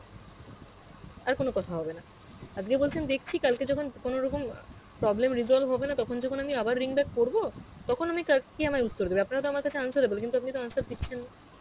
আর কোনো কথা হবে না, আজগে বলছে দেখছি কালকে যখন কোন রকম আ problem resolve হবে না তখন যখন আমি আবার ring back করব, তখন আমি কার~ কে আমায় উত্তর দেবে আপনারা তো আমার কাছে answerable কিন্তু আপনি তো answer দিচ্ছেন না.